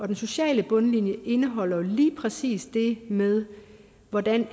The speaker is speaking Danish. den sociale bundlinje indeholder lige præcis det med hvordan